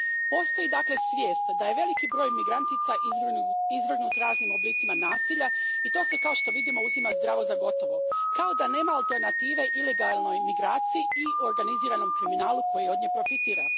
Postoji, dakle, svijest da je veliki broj migrantica izvrgnut raznim oblicima nasilja i to se, kao što vidimo, uzima zdravo za gotovo, kao da nema alternative ilegalnoj migraciji i organiziranom kriminalu koji od nje profitira.